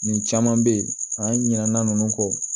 Nin caman bɛ yen an ɲinɛna ninnu kɔ